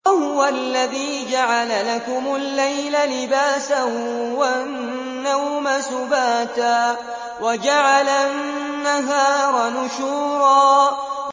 وَهُوَ الَّذِي جَعَلَ لَكُمُ اللَّيْلَ لِبَاسًا وَالنَّوْمَ سُبَاتًا وَجَعَلَ النَّهَارَ نُشُورًا